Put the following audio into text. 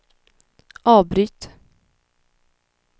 avbryt